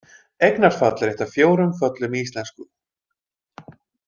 Eignarfall er eitt af fjórum föllum í íslensku.